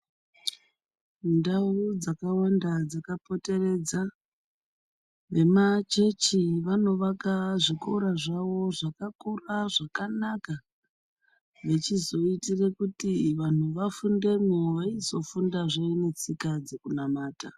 Ndau dzakawanda dzakapoteredza vemachechi vanovaka zvikora zvawo zvakakura zvakanaka vechizoitira kuti vantu vafundemo vachizofundawo netsika dzekunamata.